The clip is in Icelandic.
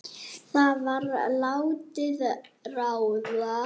Það var látið ráða.